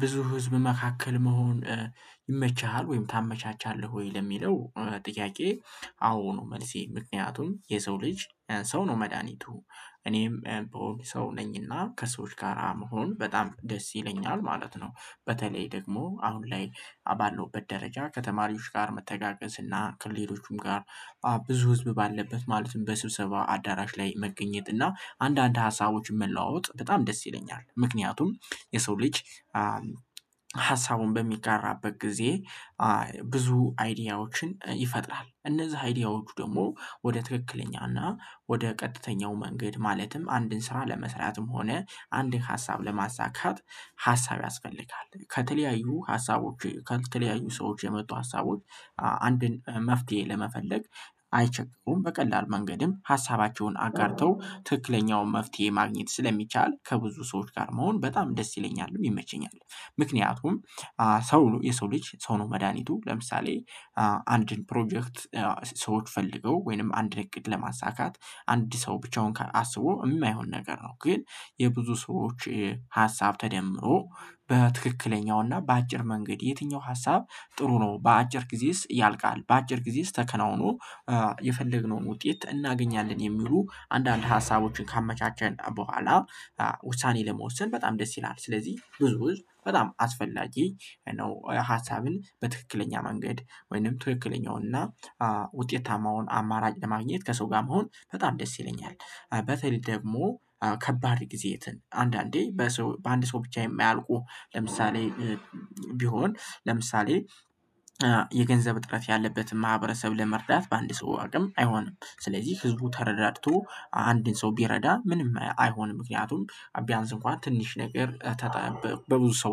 ብዙ ህዝብ መካከል መሆን ይመችሃል ወይም ታመቻቻለህ ወይ ለሚለው ጥያቄ? አዎ ነው መልሴ ምክንያቱም የሰው ልጅ ሰው ነው መድሃኒቱ። እኔም ብሆን ሰው ነኝና ከሰዎች ጋር ብሆን በጣም ደስ ይለኛል ማለት ነው። በተለይ ደግሞ አሁን ላይ ባለውበት ደረጃ ከተማሪዎች ጋር መተጋገዝ እና ከሌሎቹም ጋር ብዙ ህዝብ ባለበት ማለትም በስብሰባ አዳራሽ ላይ መገኘት እና አንዳንድ ሀሳቦችን መለዋወጥ በጣም ደስ ይለኛል። ምክንያቱም የሰው ልጅ ሀሳቡን በሚጋራበት ጊዜ ብዙ አይዲያዎችን ይፈጥራል። እነዛ አይዲያዎቹ ደግሞ ወደ ትክክለኛና ወደ ቀጥተኛው መንገድ ማለትም አንድን ስራ ለመስራትም ሆነ አንድን ሀሳብ ለማሳካት ሀሳብ ያስፈልጋል ከተለያዩ ሀሳቦች ከተለያዩ ሰዎች የመጡ ሀሳቦች አንድን መፍትሄ ለመፈለግ አይቸገሩም በቀላሉ መንገድም ሀሳባቸውን አጋርተው ትክክለኛውን መፍትሄ ማግኘት ስለሚቻል ከብዙ ሰዎች ጋር መሆን በጣም ደስ ይለኛል ይመቸኛል። ምክንያቱም ሰው የሰው ልጅ ሰው ነው መድሃኒቱ። ለምሳሌ አንድን ፕሮጀክት ሰዎች ፈልገው ወይንም አንድ እቅድ ለማሳካት አንድ ሰው ብቻውን አስቦ የማይሆን ነገር ነው ግን የብዙ ሰዎች ሀሳብ ተደምሮ በትክክለኛውና በአጭር መንገድ የትኛው ሀሳብ ጥሩ ነው በአጭር ጊዜስ ያልቃል? በአጭር ጊዜስ ተከናውኖ የፈለግነውን ውጤት እናገኛለን የሚሉ አንዳንድ ሀሳቦችን ካመቻቸን በኋላ ውሳኔ ለመወሰን በጣም ደስ ይላል። ስለዚህ ብዙ ህዝብ በጣም አስፈላጊ ነው ሀሳብን በትክክለኛ መንገድ ወይንም ትክክለኛውን እና ውጤታማውን አማራጭ ለማግኘት ከሰው ጋር መሆን በጣም ደስ ይለኛል። በተለይ ደግሞ ከባድ ጊዜ ያትን አንዳንዴ በአንድ ሰው ብቻ የማያልቁ ለምሳሌ ቢሆን ለምሳሌ የገንዘብ እጥረት ያለበትን ማህበረሰብ ለመርዳት በአንድ ሰው አቅም አይሆንም። ስለዚህ ህዝቡ ተረዳድቶ አንድን ሰው ቢረዳ ምንም አይሆንም ምክንያቱም ቢያንስ እንኳን ትንሽ ነገር በብዙ ሰው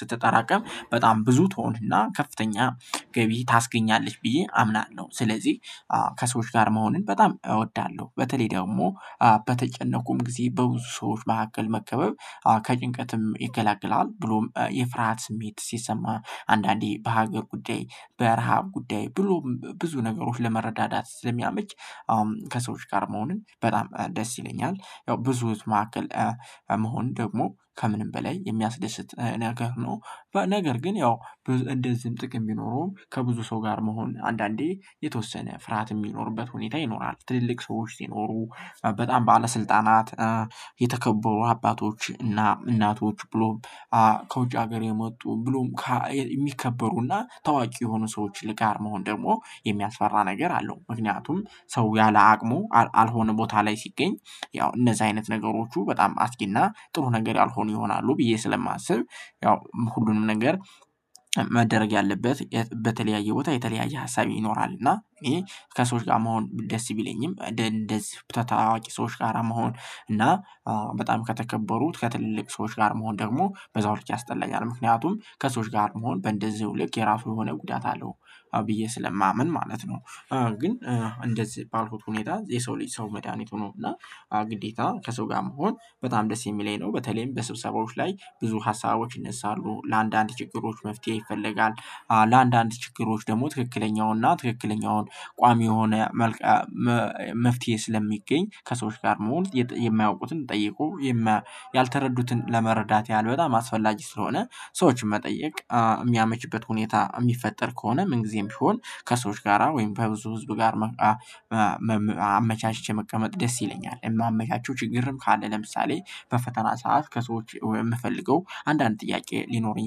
ስትጠራቀም በጣም ብዙ ትሆን እና ከፍተኛ ገቢ ታስገኛለች ብዬ አምናለሁ። ስለዚህ ከሰዎች ጋር መሆንን በጣም እወዳለሁ። በተለይ ደግሞ በተጨነኩ ጊዜ በብዙ ሰዎች መካከል መከበብ ከጭንቀትም ይገላግላል ብሎም የፍርሃት ስሜት ሲሰማ አንዳንዴ በሀገር ጉዳይ በረሃብ ጉዳይ ብሎም ብዙ ነገሮችን ለመረዳዳት ስለሚያመች አሁን ከሰዎች ጋር መሆኑን በጣም ደስ ይለኛል። ያው ብዙ ህዝብ መካከል መሆን ደግሞ ከምንም በላይ የሚያስደስት ነገር ነው። ነገር ግን ያው እንደዚህም ጥቅም ሚኖረውም ከብዙ ሰው ጋር መሆን አንዳንዴ የተወሰነ ፍርሃት የሚኖርበት ሁኔታ ይኖራል ትልልቅ ሰዎች ሲኖሩ በጣም ባለስልጣናት የተከበሩ አባቶች እና እናቶች ብሎም ከውጭ ሀገር የመጡ ብሎም የሚከበሩና ታዋቂ የሆኑ ሰዎች ጋር መሆን ደግሞ የሚያስፈራ ነገር አለው። ምክንያቱም ሰው ያለ አቅሙ አልሆነ ቦታ ላይ ሲገኝ ያው እነዚህ አይነት ነገሮቹ በጣም አስጊና ጥሩ ነገር ያልሆኑ ይሆናሉ ብዬ ስለማስብ ያው ሁሉንም ነገር መደረግ ያለበት በተለያየ ቦታ የተለያየ ሀሳብ ይኖራል። እና ይሄ ከሰዎች ጋር መሆን ደስ ቢለኝም እንደዚህ እንደዚህ ታዋቂ ሰዎች ጋር መሆን እና በጣም ከተከበሩት ከትልልቅ ሰዎች ጋር መሆን ደግሞ በዛው ልክ ያስጠላኛል ምክንያቱም ከሰዎች ጋር መሆን በእንደዚሁ ልክ የራሱ የሆነ ጉዳት አለው ብዬ ስለማምን ማለት ነው። ግን እንደዚህ ባልኩት ሁኔታ የሰው ልጅ ሰው መድሃኒት ነው እና ግዴታ ከሰው ጋር መሆን በጣም ደስ የሚለኝ ነው። በተለይም በስብሰባዎች ላይ ብዙ ሀሳቦች ይነሳሉ ለአንዳንድ ችግሮች መፍትሄ ይፈለጋል። ለአንዳንድ ችግሮች ደግሞ ትክክለኛውና ትክክለኛውን ቋሚ የሆነ መልቀ መልቀ መፍትሄ ስለሚገኝ ከሰዎች ጋር መሆን የማያውቁትን ጠይቆ ያልተረዱትን ለመረዳት ያህል በጣም አስፈላጊ ስለሆነ ሰዎችን መጠየቅ የሚያመችበት ሁኔታ የሚፈጠር ከሆነ ምን ጊዜም ቢሆን ከሰዎች ጋራ ወይም በብዙ ህዝብ ጋር አመቻችቼ መቀመጥ ደስ ይለኛል የማመቻቸው ችግርም ካለ ለምሳሌ በፈተና ሰዓት ከሰዎች የምፈልገው አንዳንድ ጥያቄ ሊኖረኝ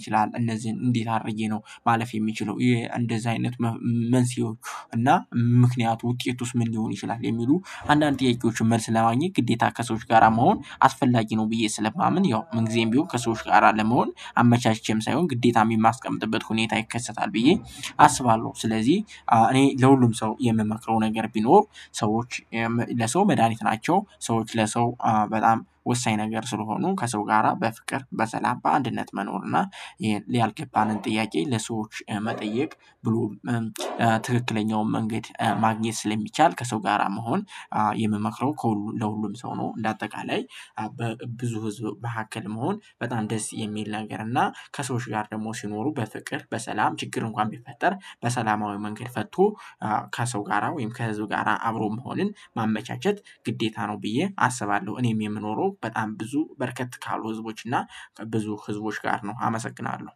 ይችላል እነዚህን እንዴት አድርጌ ነው ማለፍ የምችለው እንደዛ አይነት መንስኤዎች እና ምክንያቱ ውጤቱስ ምን ሊሆን ይችላል? የሚሉ አንዳንድ ጥያቄዎችን መልስ ለማግኘት ግዴታ ከሰዎች ጋራ መሆን አስፈላጊ ነው። ብዬ ስለማምን ያው ምን ጊዜም ቢሆን ከሰዎች ጋር ለመሆን አመቻችቼም ሳይሆን ግዴታም የማስቀምጥበት ሁኔታ ይከሰታል። ብዬ አስባለሁ ስለዚህ እኔ ለሁሉም ሰው የምመክረው ነገር ቢኖር ሰዎች ለሰው መድሃኒት ናቸው። ሰዎች ለሰው በጣም ወሳኝ ነገር ስለሆኑ ከሰው ጋራ በፍቅር በሰላም በአንድነት መኖር እና ያልገባንን ጥያቄ ለሰዎች መጠየቅ ብሎ ትክክለኛውን መንገድ ማግኘት ስለሚቻል ከሰው ጋራ መሆን የምመክረው ከሁሉ ለሁሉም ሰው ነው። እንደ አጠቃላይ በብዙ ህዝብ መካከል መሆን በጣም ደስ የሚል ነገር እና ከሰዎች ጋር ደግሞ ሲኖሩ በፍቅር በሰላም ችግር እንኳን ቢፈጠር በሰላማዊ መንገድ ፈቶ ከሰው ጋራ ወይም ከህዝብ ጋራ አብሮ መሆንን ማመቻቸት ግዴታ ነው ብዬ አስባለሁ። እኔም የምኖረው በጣም ብዙ በረከት ካሉ ህዝቦች እና ብዙ ህዝቦች ጋር ነው። አመሰግናለሁ።